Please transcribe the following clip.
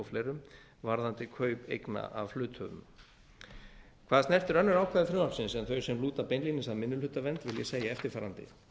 fleirum varðandi kaup eigna af hluthöfum hvað snertir önnur ákvæði frumvarpsins en þau sem lúta beinlínis að minnihlutavernd vil ég segja eftirfarandi